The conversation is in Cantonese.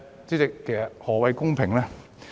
主席，何謂公平？